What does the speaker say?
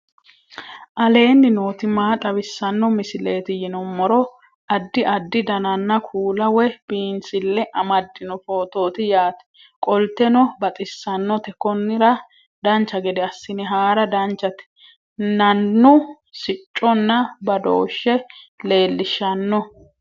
aleenni nooti maa xawisanno misileeti yinummoro addi addi dananna kuula woy biinsille amaddino footooti yaate qoltenno baxissannote konnira dancha gede assine haara danchate nannu sicconna badooshshe leellishshano